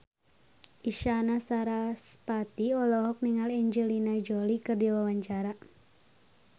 Isyana Sarasvati olohok ningali Angelina Jolie keur diwawancara